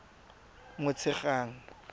motshegang